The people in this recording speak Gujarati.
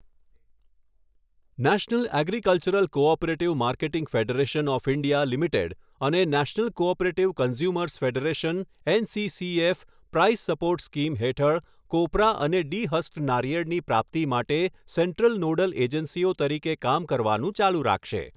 National agricultural cooperative marketing federation of India limited અને national cooperative consumers federation NCCF price support scheme હેઠળ કોપરા અને ડી હસ્ક્ડ નારિયેળની પ્રાપ્તિ માટે સેન્ટ્રલ નોડલ એજન્સીઓ તરીકે કામ કરવાનું ચાલુ રાખશે.